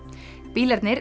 bílarnir